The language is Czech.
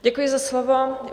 Děkuji za slovo.